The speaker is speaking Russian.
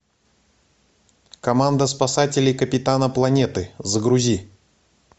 команда спасателей капитана планеты загрузи